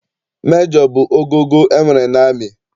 Mejọ bụ ogogo e nwere n'amị.